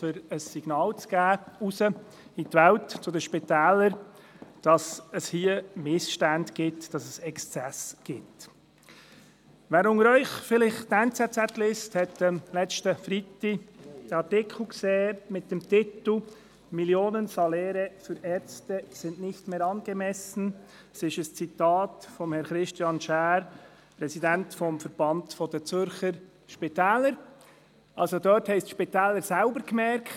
Darin steht, die Spitäler hätten selbst gemerkt, dass sich eine Branche auch selbst kaputtmachen könne, wenn sie nicht gegen Exzesse vorgehe und die Preisspirale sich immer weiter drehe.